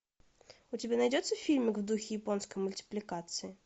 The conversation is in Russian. у тебя найдется фильмик в духе японской мультипликации